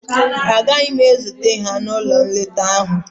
Agaghị m ezute ha n'ụlọ nleta ahụ